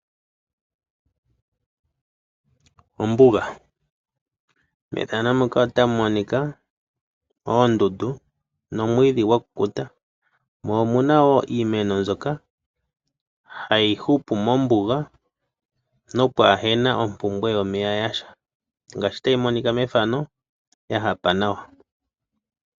Ombuga, methano muka otamu monika oondundu nomwiidhi gwakukuta. Mo omuna wo iimeno mbyoka hayi hupu mombuga nompwaa hena ompumbwe yomeya yasha, ngaashi tayi monika mefano yahapa nawa.